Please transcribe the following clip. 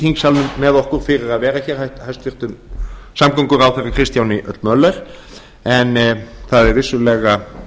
þingsalnum með okkur fyrir að vera hér hæstvirtur samgönguráðherra kristjáni l möller en það er vissulega